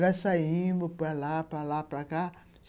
Nós saímos para lá, para lá, para cá.